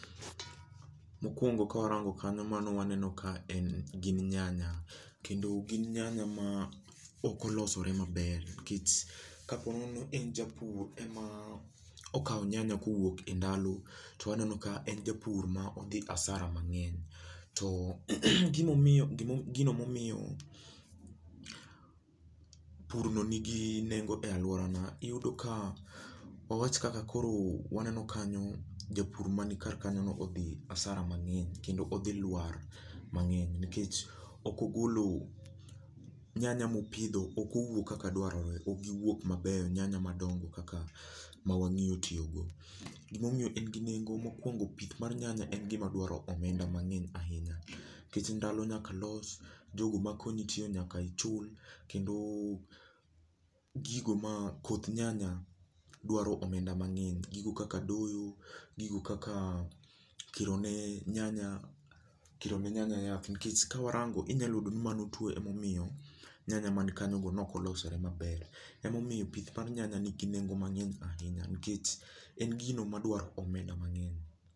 mokuongo ka warango kanyo waneno ka gin nyanya kendo gin nyanya ma ok olosore maber nikech kaponi en japur ema okawo nyanya e ndalo ma en japur ma odhi asara mangeny, to gino momiyo pur no ni gi nengo e aluorana ,iyudo ka wawach kaka koro waneno kanyo japur mani kar kanyono oyudo asara mangeny kendo kendo odhi lwar mang'eny nikech nyanya mopidho ok owuok kaka dwarore ok gi wuok mabeyo nyanya madongo kaka mawangeyo tiyo go ,gimo miyo en gi nengo mokuongo pith mar nyanya en gima dwaro omenda mang'eny ahinya nikech ndalo nyaka los, jogo makonyi tiyo nyaka ichul, kendo koth nyanya dwaro omenda mang'eny gigo kaka doyo gigo kaka kiro ne nyanya yath ,nikech kawarango inyalo yudo ni mano tuo emomiyo nyanya ma kanyo go ne ok olosore maber, emomiyo pith mar nyanya n i gi nengo mang'eny ahinya nikech en gini madwaro omenda mang'eny